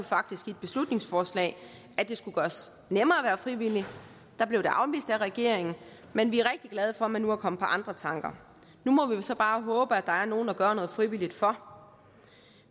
faktisk i et beslutningsforslag at det skulle gøres nemmere at være frivillig da blev det afvist af regeringen men vi er rigtig glade for at man nu er kommet på andre tanker nu må vi jo så bare håbe at der er nogle at gøre noget frivilligt for